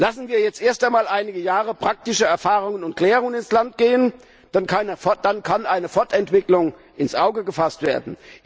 Lassen wir jetzt einmal einige Jahre praktische Erfahrungen und Klärungen ins Land gehen, dann kann eine Fortentwicklung ins Auge gefasst werden.